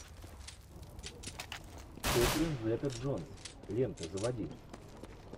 кэтрин зета джонс лента заводи